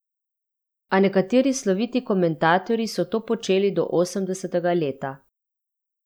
A nekateri sloviti komentatorji so to počeli do osemdesetega leta.